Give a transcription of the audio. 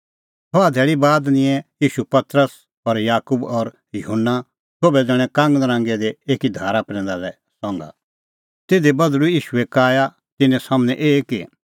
छ़हा धैल़ी बाद निंयैं ईशू पतरस और याकूब और युहन्ना सोभै ज़ण्हैं कांगनरांगै दी एकी धारा प्रैंदा लै संघा तिधी बधल़ूई ईशूए काया तिन्नें सम्हनै एही कि